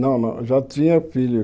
Não não, já tinha filho.